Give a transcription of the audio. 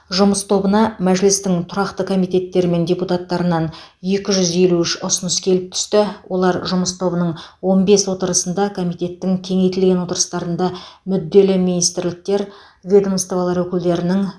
жұмыс тобына мәжілістің тұрақты комитеттері мен депутаттарынан екі жүз елу үш ұсыныс келіп түсті олар жұмыс тобының он бес отырысында комитеттің кеңейтілген отырыстарында мүдделі министрліктер ведомстволар өкілдерінің